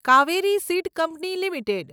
Kaveri seed company limited